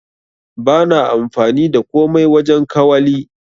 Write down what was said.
Bana amfani da komai wajen kawali.